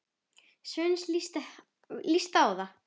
Svenna líst vel á það.